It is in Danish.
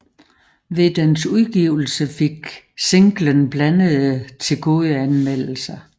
Ved dens udgivelse fik singlen blandede til gode anmeldelser